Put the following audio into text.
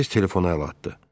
Tez telefona əl atdı.